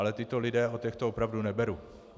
Ale tito lidé, od těch to opravdu neberu.